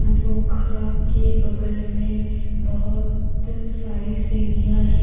पोखरा के बगल में बहुत सारी सीढ़िया है।